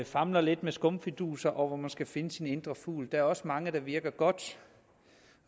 famler lidt med skumfiduser og hvor man skal finde sin indre fugl der er også mange der virker godt